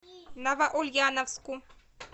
новоульяновску